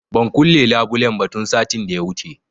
Ban kulle labulen ba tun satin da ya wuce